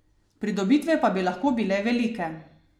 Pridobitve pa bi lahko bile velike.